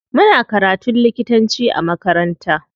Muna karatun likitanci a makaranta.